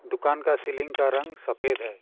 दुकान का सीलिंग का रंग सफेद है।